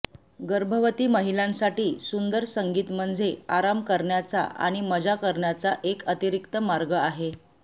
गर्भवती महिलांसाठी सुंदर संगीत म्हणजे आराम करण्याचा आणि मजा करण्याचा एक अतिरिक्त मार्ग आहे